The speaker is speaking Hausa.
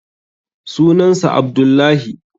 sunan sa Abdullahi